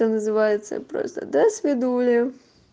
это называется просто досвидули